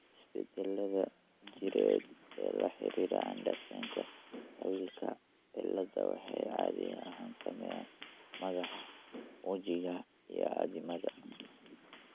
Isbeddellada jireed ee la xidhiidha Andersenka Tawilka ciladha waxay caadi ahaan saameeyaan madaxa, wejiga, iyo addimada.